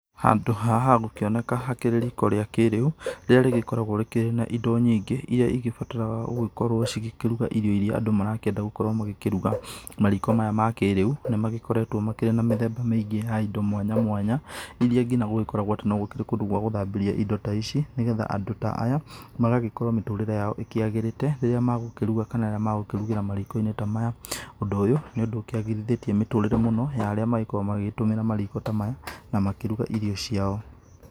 Handũ haha hagũkĩoneka hakĩrĩ riko rĩa kĩrĩu, rĩrĩa rĩgĩkoragwo rĩkĩrĩ na indo nyingĩ, iria igĩbatataraga gũkorwo cikĩruga irio irĩa andũ marakĩenda gũkorwo magĩkĩruga. Mariko maya ma kĩrĩu nĩmakoretwo makĩrĩ na mĩthemba miingĩ ya indo mwanya mwanya irĩa nginya gũgĩkoragwo atĩ no gũkĩrĩ nginya na kũndũ gwa gũthambĩrĩa indo ta ici, nĩgetha andũ ta aya magagĩkorwo mĩtũrĩre yao ĩkĩagĩrĩte rĩrĩa magũkĩruga kana rĩrĩa magũkĩrugĩra mariko-inĩ ta maya. Ũndũ ũyũ nĩũndũ ũkĩagĩrithĩtie mĩtũrĩre mũno ya arĩa makoragwo makĩgũmĩra mariko ta maya na makĩruga irio ciao.